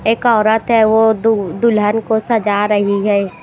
एक औरत है वो दुल्हन को सजा रही है।